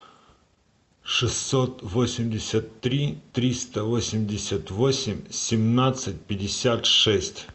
шестьсот восемьдесят три триста восемьдесят восемь семнадцать пятьдесят шесть